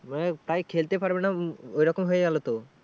মানে প্রায় খেলতে পারবে না উম ওরকম হয়ে গেলো তো।